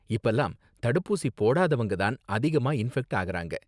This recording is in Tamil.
இப்பலாம் தடுப்பூசி போடாதவங்க தான் அதிகமா இன்ஃபெக்ட் ஆகறாங்க.